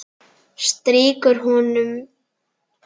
Strýkur honum.